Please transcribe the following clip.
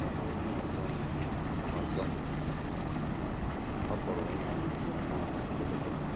N’ebe onye ọzọ nọ ọzọ nọ, ọ pụrụ ịmalite nnọọ na mberede.